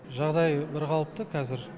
жағдайы бірқалыпты қазір